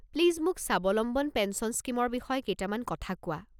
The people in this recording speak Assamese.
প্লিজ মোক স্বাৱলম্বন পেঞ্চন স্কীমৰ বিষয়ে কেইটামান কথা কোৱা।